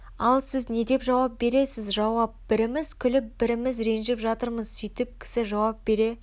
ал сіз не деп жауап бересіз жауап біріміз күліп біріміз ренжіп жатырмыз сөйтіп кісі жауап бере